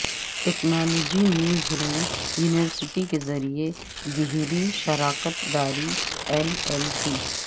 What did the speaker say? technology newsroom university کے ذریعے گیہری شراکت داری ایل ایل پی